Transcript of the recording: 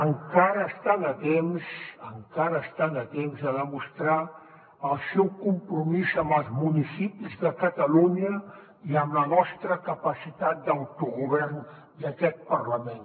encara estan a temps encara estan a temps de demostrar el seu compromís amb els municipis de catalunya i amb la nostra capacitat d’autogovern d’aquest parlament